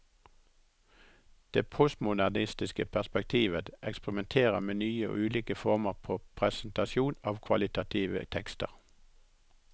Det postmodernistiske perspektivet eksperimenterer med nye og ulike former for presentasjon av kvalitative tekster.